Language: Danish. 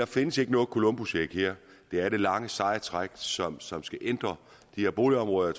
findes noget columbusæg her det er det lange seje træk som som skal ændre de her boligområder